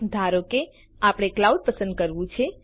ધારો કે આપણે ક્લાઉડ પસંદ કરવું છે